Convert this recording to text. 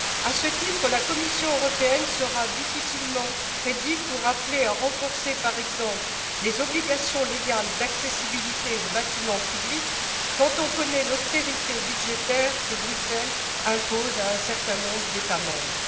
À ce titre, la Commission européenne sera difficilement crédible pour appeler à renforcer, par exemple, les obligations légales d'accessibilité aux bâtiments publics, quand on connaît l'austérité budgétaire que Bruxelles impose à un certain nombre d'États membres.